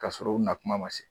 Ka sɔrɔ u na kuma ma se